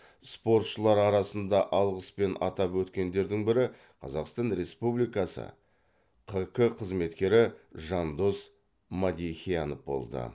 спортшылар арасында алғыспен атап өткендердің бірі қазақстан республикасы қк қызметкері жандос мадехиянов болды